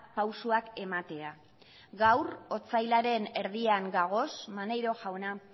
pausuak ematea gaur otsailaren erdian dagoz maneiro jauna